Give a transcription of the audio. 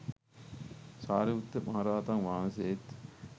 සාරිපුත්ත මහරහතන් වහන්සේත්